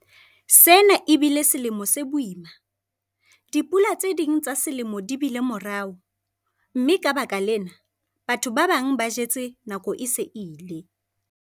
Sena e bile selemo se boima - dipula tse ding tsa selemo di bile morao, mme ka baka lena, batho ba bang ba jetse nako e se e ile.